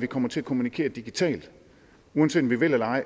vi kommer til at kommunikere digitalt uanset om vi vil det eller ej